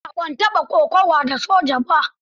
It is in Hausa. A'a, ban taɓa kokawa da soja ba.